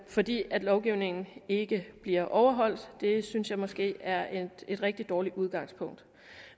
fordi lovgivningen ikke bliver overholdt det synes jeg måske er et rigtig dårligt udgangspunkt